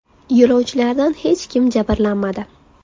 Yo‘lovchilardan hech kim jabrlanmadi.